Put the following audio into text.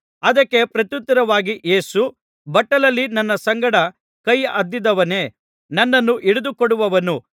ಅದಕ್ಕೆ ಪ್ರತ್ಯುತ್ತರವಾಗಿ ಯೇಸು ಬಟ್ಟಲಲ್ಲಿ ನನ್ನ ಸಂಗಡ ಕೈ ಅದ್ದಿದವನೇ ನನ್ನನ್ನು ಹಿಡಿದುಕೊಡುವವನು